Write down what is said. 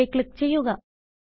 okay click ചെയ്യുക